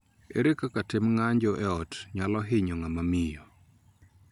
Ere kaka tim ng�anjo e ot nyalo hinyo ng'ama miyo?